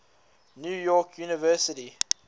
new york university